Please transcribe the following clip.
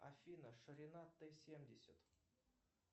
афина ширина т семьдесят